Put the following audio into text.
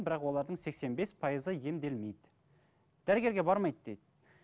бірақ олардың сексен бес пайызы емделмейді дәрігерге бармайды дейді